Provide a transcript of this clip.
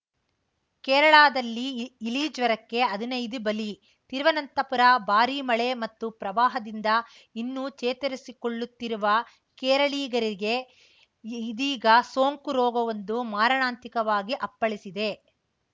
ಕೇರಳದಲ್ಲಿ ಇ ಇಲಿ ಜ್ವರಕ್ಕೆ ಹದಿನೈದು ಬಲಿ ತಿರುವನಂತಪುರ ಭಾರೀ ಮಳೆ ಮತ್ತು ಪ್ರವಾಹದಿಂದ ಇನ್ನೂ ಚೇತರಿಸಿಕೊಳ್ಳುತ್ತಿರುವ ಕೇರಳಿಗರಿಗೆ ಇದೀಗ ಸೋಂಕು ರೋಗವೊಂದು ಮಾರಣಾಂತಿಕವಾಗಿ ಅಪ್ಪಳಿಸಿದೆ